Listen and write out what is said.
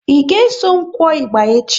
Ị ga eso m kụọ ịgba echi?